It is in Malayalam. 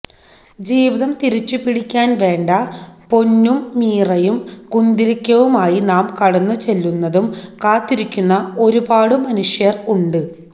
ജീവിതം തിരിച്ചു പിടിക്കാന് വേണ്ട പൊന്നും മീറയും കുന്തിരിക്കവുമായി നാം കടന്നു ചെല്ലുന്നതും കാത്തിരിക്കുന്ന ഒരുപാടു മനുഷ്യര് ഉണ്ട്